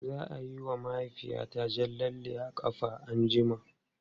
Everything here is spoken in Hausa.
Za a yi wa mahaifiyata jan lalle a ƙafa anjima.